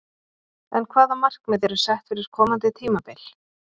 En hvaða markmið eru sett fyrir komandi tímabil?